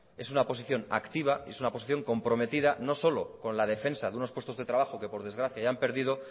es una posición activa y es una posición comprometida no solo con la defensa de unos puestos de trabajo que por desgracia ya han perdido